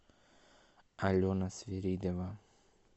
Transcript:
алена свиридова